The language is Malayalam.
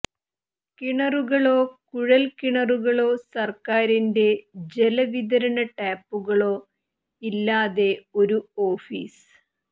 കിണറുകളോ കുഴൽ കിണറുകളോ സർക്കാരിന്റെ ജലവിതരണ ടാപ്പുകളോ ഇല്ലാതെ ഒരു ഓഫീസ്